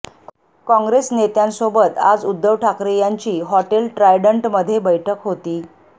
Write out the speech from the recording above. काँग्रेस नेत्यांसोबत आज उद्धव ठाकरे यांची हॉटेल ट्रायडंटमध्ये बैठक होती